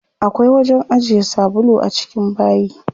Akwai wajen ajiye sabulu a cikin bayi.